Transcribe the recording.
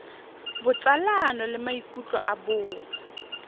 botsalano le maikutlo a bong